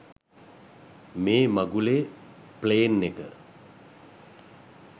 මේ මගුලේ ප්ලේන් එක